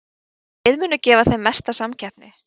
En hvaða lið munu gefa þeim mesta samkeppni?